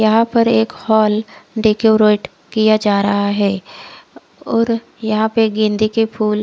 यहा पर एक हॉल डेकोरेट किया जा रहा है और यहा पे गेंदे के फुल--